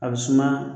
A bɛ suma